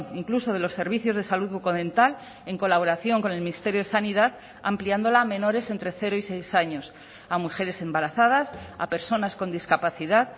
incluso de los servicios de salud bucodental en colaboración con el ministerio de sanidad ampliándola a menores entre cero y seis años a mujeres embarazadas a personas con discapacidad